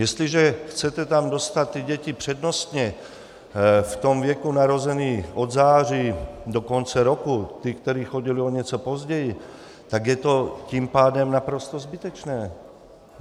Jestliže chcete tam dostat ty děti přednostně v tom věku narozené od září do konce roku, ty, které chodily o něco později, tak je to tím pádem naprosto zbytečné.